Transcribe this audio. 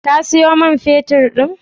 Ka sayo man feturn din?